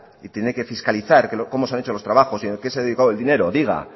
y tiene que fiscalizar cómo se han hecho los trabajos y a qué se ha dedicado el dinero diga